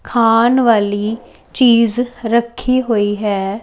ਖਾਣ ਵਾਲੀ ਚੀਜ਼ ਰੱਖੀ ਹੋਈ ਹੈ।